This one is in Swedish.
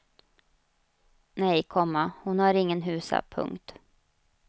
Nej, komma hon har ingen husa. punkt